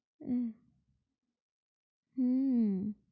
আহ হম